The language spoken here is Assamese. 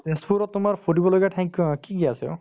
তেজপুৰত তোমাৰ ফুৰিব লগীয়া ঠাই ক‍ কি আছে অ